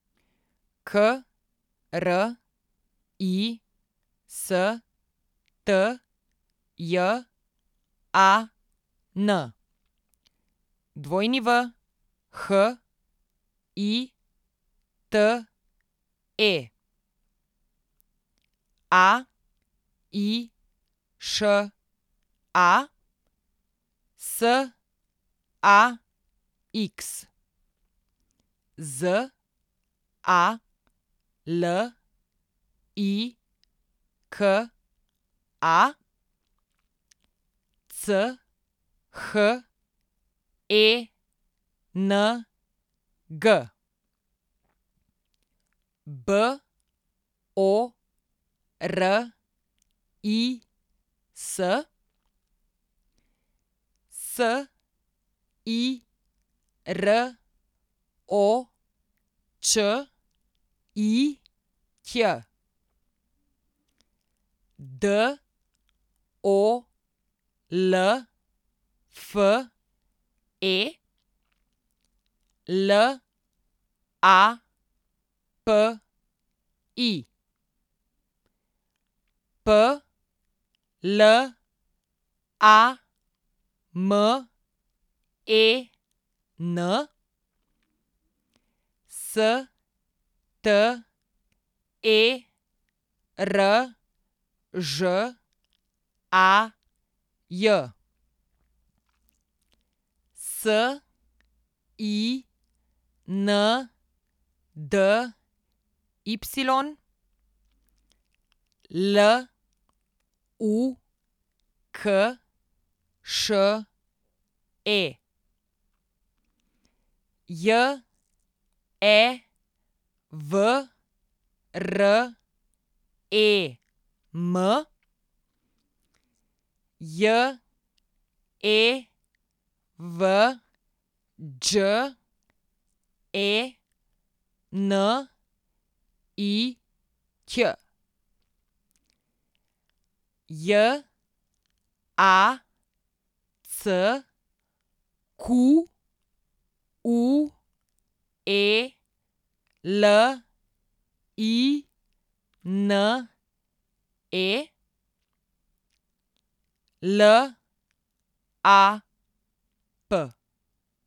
K R I S T J A N, W H I T E; A I Š A, S A X; Z A L I K A, C H E N G; B O R I S, S I R O Č I Ć; D O L F E, L A P I; P L A M E N, S T E R Ž A J; S I N D Y, L U K Š E; J E V R E M, J E V Đ E N I Ć; J A C Q U E L I N E, L A P.